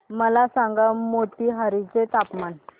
मला सांगा मोतीहारी चे हवामान